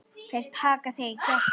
Þeir taka þig í gegn!